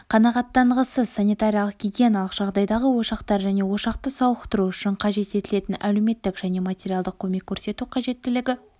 қанағаттанғысыз санитариялық-гигиеналық жағдайдағы ошақтар және ошақты сауықтыру үшін қажет етілетін әлеуметтік және материалдық көмек көрсету қажеттілігі